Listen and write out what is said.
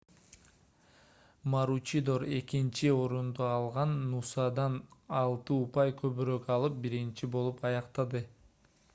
маручидор экинчи орунду алган нусадан алты упай көбүрөөк алып биринчи болуп аяктады